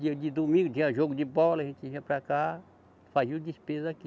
Dia de domingo tinha jogo de bola, a gente vinha para cá, fazia o despesa aqui.